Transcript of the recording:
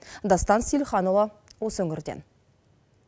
дастан сейілханұлы осы өңірден